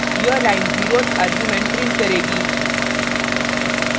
यह line zeroth argument print करेगी